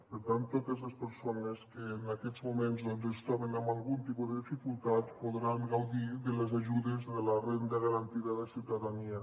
per tant totes les persones que en aquests moments doncs es troben amb algun tipus de dificultat podran gaudir de les ajudes de la renda garantida de ciutadania